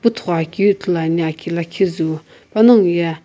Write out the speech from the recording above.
puthogho keu ithulu ane aki lakhi zu panaghoye.